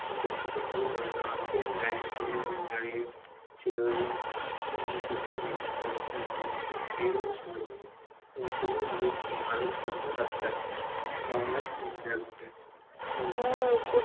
প্রসাদ টা খুব ভালো ছিলো, আমরা তো লাইন ধরে দাঁড়িয়ে ছিলাম আর প্রসাদ দিচ্ছিলো, উম খুব ভীড়ও ছিল খুবই ভালো ছিলো প্রসাদটা মন্ডা ছিলো সাথে